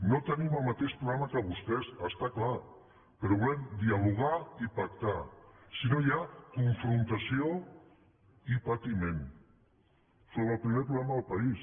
no tenim el mateix programa que vostès està clar però volem dialogar i pactar si no hi ha confrontació i patiment sobre el primer problema del país